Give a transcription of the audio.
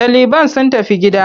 Ɗaliban sun tafi gida.